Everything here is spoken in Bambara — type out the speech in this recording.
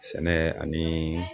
Sɛnɛ ani